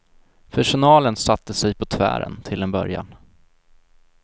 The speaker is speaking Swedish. Personalen satte sig på tvären till en början.